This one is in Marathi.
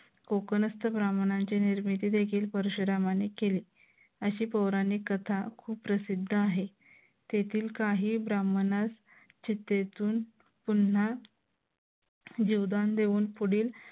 कोकणस्थ ब्राह्मणांची निर्मिती देशील परशुरामांनी केली अशी पौराणिक कथा प्रसिद्ध आहे. तेथील काही ब्राह्मणास चितेतून पुन्हा जीवदान देऊन पुढील